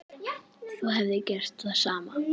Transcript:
Þú hefðir gert það sama.